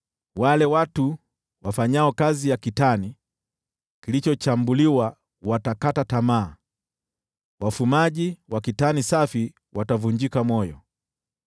Wale watu wafanyao kazi ya kitani kilichochambuliwa watakata tamaa, wafumaji wa kitani safi watavunjika moyo.